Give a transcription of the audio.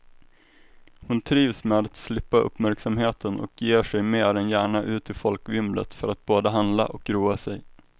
Hon trivs med att slippa uppmärksamheten och ger sig mer än gärna ut i folkvimlet för att både handla och roa sig.